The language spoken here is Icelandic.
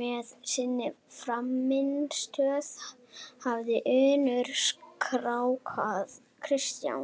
með sinni frammistöðu hafi Unnur skákað Kristjáni.